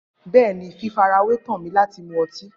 Bẹẹni, fifarawe tọn mi lati mu ọti.